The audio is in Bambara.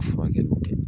A furakɛli tɛ